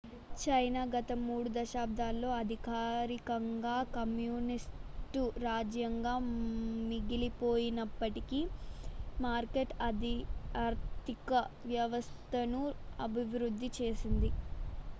China గత మూడు దశాబ్దాల్లో అధికారికంగా కమ్యూనిస్టు రాజ్యంగా మిగిలిపోయినప్పటికీ మార్కెట్ ఆర్థిక వ్యవస్థను అభివృద్ధి చేసింది